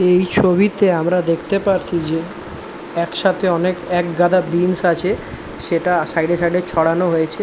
এই ছবিতে আমরা দেখতে পারছি যে একসাথে অনেক একগাদা বীন্স আছে সেটা সাইড এ সাইড এ ছড়ানো হয়েছে।